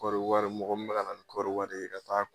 Kɔɔri wari mɔgɔ minɛ bɛ ka na ni kɔɔri wari ye ka t'a kunbɛ